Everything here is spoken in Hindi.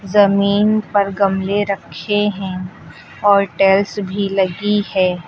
जमीन पर गमले रखे हैं और टाइल्स भी लगी है।